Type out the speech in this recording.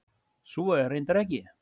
Svo er reyndar ekki.